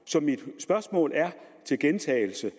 så mit spørgsmål er til gentagelse